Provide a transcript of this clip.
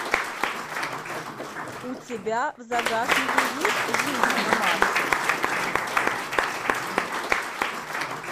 у тебя в загашнике есть жизнь на марсе